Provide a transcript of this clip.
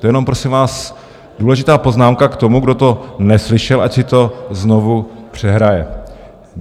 To jenom prosím vás důležitá poznámka k tomu, kdo to neslyšel, ať si to znovu přehraje.